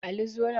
Ali zo nan